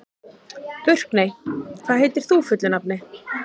Burkney, hvað heitir þú fullu nafni?